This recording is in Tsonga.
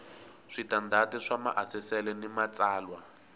switandati swa maasesele ni matsalwa